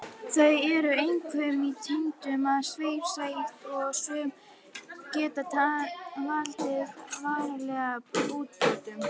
Þau eru einkum í tegundum af sveipjurtaætt og sum geta valdið alvarlegum útbrotum.